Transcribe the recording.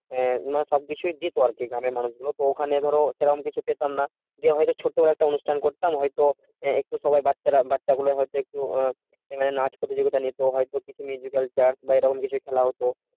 আহ মানে সব বিষয়ে দিত আর কি গ্রামের মানুষ ওখানে ধরো সেরম কিছু পেতাম না যে হয়তো ছোটখাটো একটা অনুষ্ঠান করতাম হয়তো একটু সময় বাচ্চারা বাচ্চা গুলো হয়তো আহ মানে নাচ প্রতিযোগিতা নিতো হয়তো বা এরকম কিছু খেলা হতো